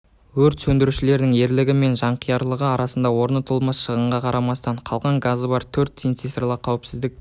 өрт сөндірушілердің ерлігі мен жанқиярлығы арқасында орны толмас шығынға қарамастан қалған газы бар төрт цистернаны қауіпсіз